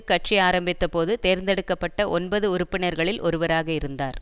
கட்சி ஆரம்பித்தபோது தேர்ந்தெடுக்க பட்ட ஒன்பது உறுப்பினர்களில் ஒருவராக இருந்தார்